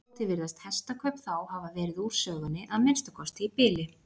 Aftur á móti virðast hestakaup þá hafa verið úr sögunni, að minnsta kosti í bili.